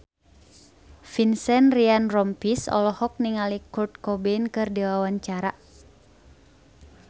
Vincent Ryan Rompies olohok ningali Kurt Cobain keur diwawancara